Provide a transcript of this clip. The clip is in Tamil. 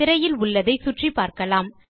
திரையில் உள்ளதை சுற்றிப்பார்க்கலாம்